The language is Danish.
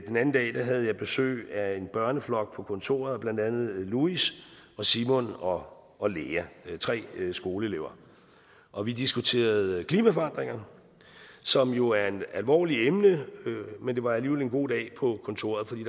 den anden dag havde jeg besøg af en børneflok på kontoret blandt andet louis og simon og og lea tre skoleelever og vi diskuterede klimaforandringer som jo er et alvorligt emne men det var alligevel en god dag på kontoret fordi